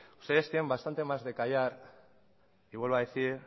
ustedes tienen bastante más de callar y vuelvo a decir